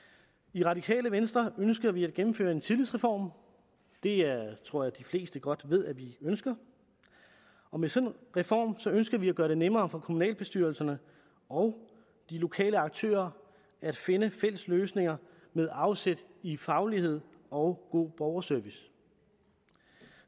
i radikale venstre ønsker vi at gennemføre en tillidsreform det tror jeg de fleste godt ved at vi ønsker og med sådan en reform ønsker vi at gøre det nemmere for kommunalbestyrelserne og de lokale aktører at finde fælles løsninger med afsæt i faglighed og god borgerservice